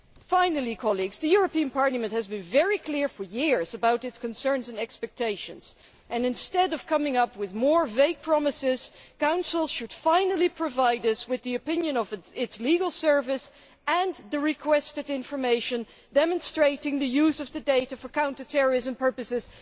Finally, the European Parliament has been very clear for years about its concerns and expectations and, instead of coming up with more vague promises, the Council should finally provide us with the opinion of its Legal Service and the requested information demonstrating the use of the data for counter terrorism purposes.